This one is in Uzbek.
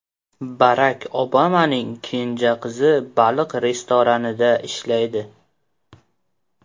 Barak Obamaning kenja qizi baliq restoranida ishlaydi.